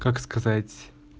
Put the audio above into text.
как сказать